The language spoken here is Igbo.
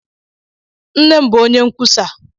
Nne m bụ onye nkwusa (ndepụta).